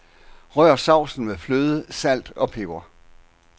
Rør sovsen med fløde, salt og peber.